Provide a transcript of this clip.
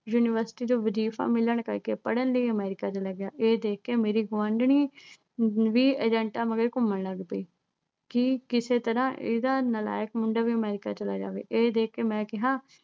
university ਚੋਂ ਵਜੀਫਾ ਮਿਲਣ ਕਰਕੇ ਪੜਨ ਲਈ America ਚਲਾ ਗਿਆ ਇਹ ਦੇਖ ਕੇ ਮੇਰੀ ਗੁਆਂਢਣੀ ਵੀ ਏਜੰਟਾਂ ਮਗਰ ਘੁੰਮਣ ਲੱਗ ਪਈ ਕਿ ਕਿਸੇ ਤਰ੍ਹਾਂ ਇਹਦਾ ਨਾਲਾਇਕ ਮੁੰਡਾ ਵੀ America ਚਲਾ ਜਾਵੇ ਇਹ ਦੇਖ ਕੇ ਮੈਂ ਕਿਹਾ